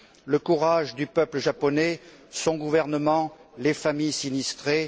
le courage du peuple japonais, son gouvernement, les familles sinistrées.